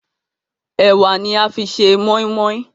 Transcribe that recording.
Ẹwà ní a fí ṣe moimoi.